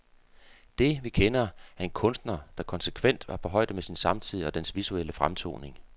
Det, vi kender, er en kunstner, der konsekvent var på højde med sin samtid og dens visuelle fremtoning.